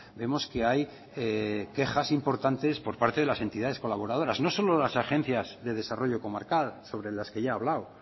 vemos que hay quejas importantes por parte de las entidades colaboradoras no solo las agencias de desarrollo comarcal sobre las que ya he hablado